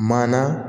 Maa na